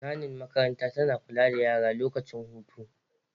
Nani makaranta tana kula da yara lokacin hutu